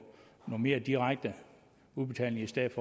noget mere direkte udbetaling i stedet